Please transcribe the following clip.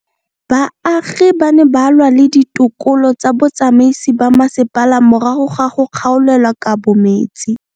Baagi ba ne ba lwa le ditokolo tsa botsamaisi ba mmasepala morago ga go gaolelwa kabo metsi.